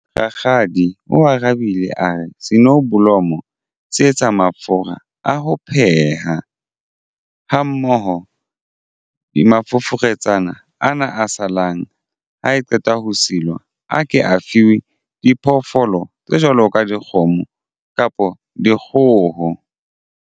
Rakgadi o arabile a re sonoblomo se etsa mafura a ho pheha ha mmoho di mafoforetsana ana a salang ha e qeta ho silwa a ke afiwe diphoofolo tse jwalo ka dikgomo kapa dikgoho.